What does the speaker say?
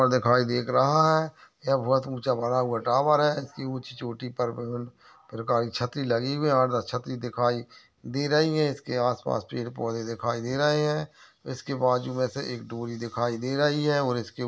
ऊपर देखाई देख रहा है। ये बहोत ऊँचा बना हुआ टॉवर है। इसकी ऊंची चोटी पर पर काली छतरी लगी हुई है। आठ दस छतरी दिखाई दे रही हैं। इसके आसपास पेड़ पौधे दिखाई दे रहे हैं। इसके बाजू में से एक डोरी दिखाई दे रही है और इसके --